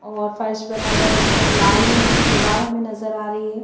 और फर्श बना हुआ है उस पर लाल रंग की दीवार हमें नजर आ रही है।